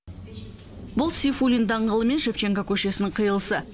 бұл сейфуллин даңғылы мен шевченко көшесінің қиылысы